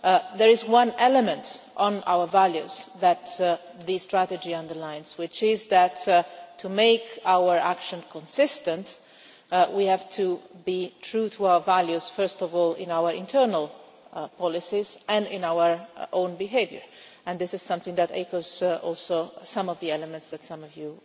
There is one element in our values that the strategy underlines, which is that, to make our action consistent, we have to be true to our values first of all in our internal policies, and in our own behaviour, and this is something that echoes also some of the elements that some of you